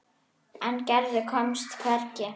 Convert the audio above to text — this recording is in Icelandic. En Gerður komst hvergi.